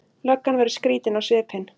Löggan verður skrýtin á svipinn.